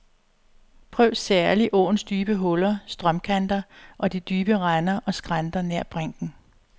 Prøv særlig åens dybe huller, strømkanter og de dybe render og skrænter nær brinken.